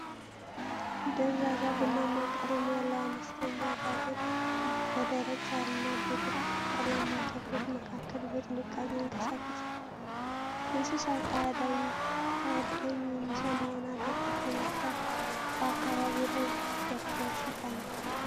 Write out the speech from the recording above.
ደብዛዛ ቡናማ ቀለም ያለው አነስተኛ አጋዘን በደረቅ ሣርና በቅጠላማ ተክሎች መካከል በጥንቃቄ ይንቀሳቀሳል። እንስሳው ከአዳኝ የሚሰማውን አደጋ በመፍራት በአካባቢው ላይ በትኩረት ይቃኛል።